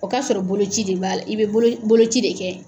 O k'a sɔrɔ bolo ci de b'a, i bɛ bolo ci de kɛ.